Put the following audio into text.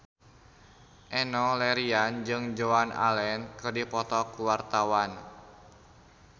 Enno Lerian jeung Joan Allen keur dipoto ku wartawan